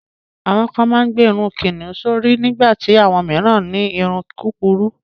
Àwọn kan máa ń gbé irun kíkún sórí nígbà tí àwọn mìíràn ní irun kúkurú.